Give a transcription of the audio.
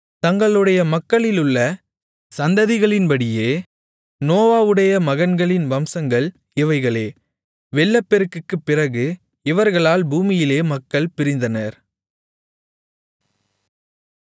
தங்களுடைய மக்களிலுள்ள சந்ததிகளின்படியே நோவாவுடைய மகன்களின் வம்சங்கள் இவைகளே வெள்ளப்பெருக்குக்குப் பிறகு இவர்களால் பூமியிலே மக்கள் பிரிந்தனர்